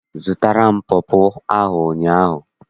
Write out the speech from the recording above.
Azụtara m pọpọ ahụ ụnyaahụ.